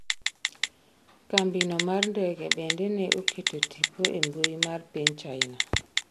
kambino mar ndege bende ne oketo tipo e mbui mar piny China